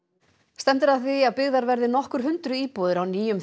stefnt er að því að byggðar verði nokkur hundruð íbúðir á nýjum